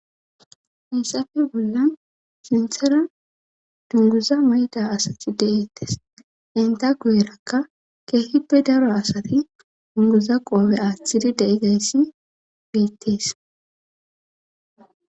Hissafe bollan sinthera dunguza mayda asati de7ettes enta gu7erakka keehippe daro asati dunguza qoobe aaththiri de7i gayssi beettees.